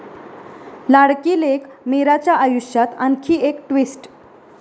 लाडकी लेक मीराच्या आयुष्यात आणखी एक ट्विस्ट